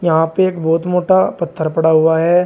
यहाँ पे एक बहुत मोटा पत्थर पड़ा हुआ है।